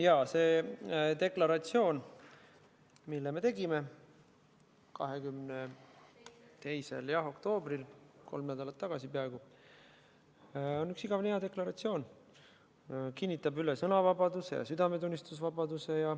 Jaa, see deklaratsioon, mille me allkirjastasime 22. oktoobril, peaaegu kolm nädalat tagasi, on üks igavene hea deklaratsioon, see kinnitab üle sõnavabaduse ja südametunnistuse vabaduse.